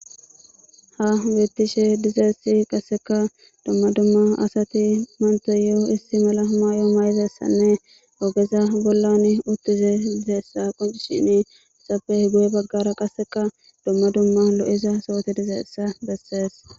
Ha hametishe dizaysati duma duma asati bantayo ISSI mala Mayo mayidasatanne togeha boll utizasta qoncisizaysako hesappe guye bagara duma duma loud'asati diza bota beses